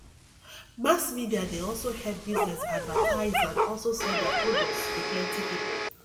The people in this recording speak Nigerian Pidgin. mass media dey also help business advertise and also sell their products to the plenty people